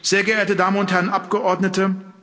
Sehr geehrte Damen und Herren Abgeordnete!